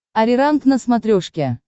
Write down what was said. ариранг на смотрешке